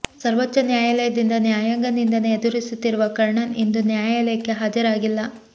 ಸರ್ವೋಚ್ಛ ನ್ಯಾಯಾಲಯದಿಂದ ನ್ಯಾಯಾಂಗ ನಿಂದನೆ ಎದುರಿಸುತ್ತಿರುವ ಕರ್ಣನ್ ಇಂದು ನ್ಯಾಯಾಲಯಕ್ಕೆ ಹಾಜರಾಗಿಲ್ಲ